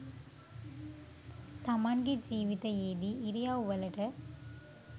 තමන්ගෙ ජීවිතයේදී ඉරියව්වලට